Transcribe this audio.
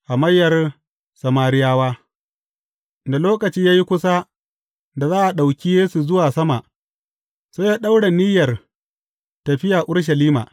Hamayyar Samariyawa Da lokaci ya yi kusa da za a ɗauki Yesu zuwa sama, sai ya ɗaura niyyar tafiya Urushalima.